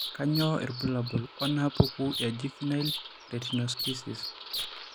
Kainyio irbulabul onaapuku eJuvenile retinoschisis?